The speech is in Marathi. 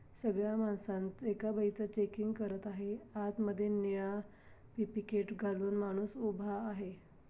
सगळ्या मानसा एका बाईचं चेकिंग करत आहे. आतमध्ये नीळा घालून माणूस उभा आहे.